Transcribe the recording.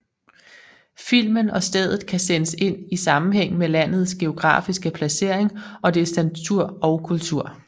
Filmen og stedet kan sættes ind i sammenhæng med landets geografiske placering og dets natur og kultur